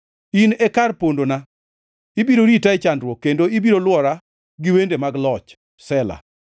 In e kar pondona; ibiro rita e chandruok, kendo ibiro lwora gi wende mag loch. Sela